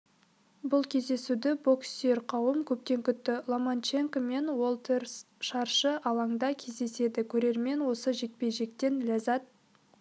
бұл кездесуді бокссүйер қауым көптен күтті ломаченко мен уолтерс шаршы алаңда кездеседі көрермен осы жекпе-жектен ләззат